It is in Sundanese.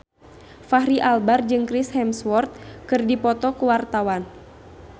Fachri Albar jeung Chris Hemsworth keur dipoto ku wartawan